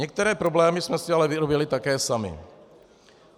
Některé problémy jsme si ale vyrobili také sami.